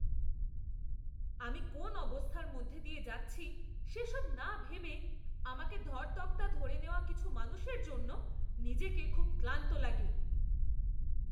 আমি কোন অবস্থার মধ্যে দিয়ে যাচ্ছি সেসব না ভেবে আমাকে ধর তক্তা ধরে নেওয়া কিছু মানুষের জন্য নিজেকে খুব ক্লান্ত লাগে।